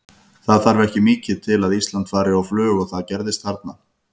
Það þarf ekki mikið til að Ísland fari á flug og það gerðist þarna.